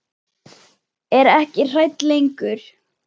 Er ekki hrædd lengur.